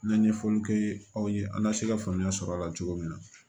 N ye ɲɛfɔliw kɛ aw ye an ka se ka faamuya sɔrɔ a la cogo min na